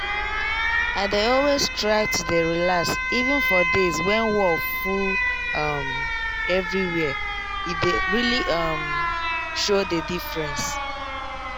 i dey always try to dey relax even for days when wor full um everywhere e dey really um show the diffreence